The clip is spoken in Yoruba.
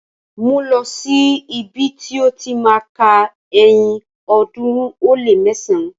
Mú lọ̀ sí ibi ti ó ti má a ka ẹyin ọ̀ọ́dúnrún ó lé mẹsán!